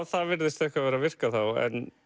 það virðist eitthvað vera að virka þá